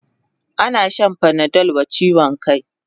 Ana shan panadol wa chiwon kai